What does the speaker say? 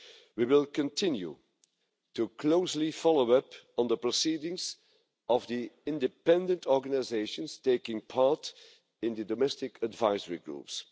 We will continue to closely follow up on the proceedings of the independent organisations taking part in the domestic advisory groups.